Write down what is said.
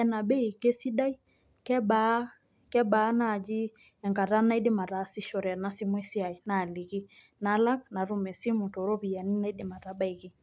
ena bei keisidai? kebaa naaji enkata naidim ataasishore ena simu esia? naaliki, nalak, natum esimu too ropiyiani naidim atabaiki.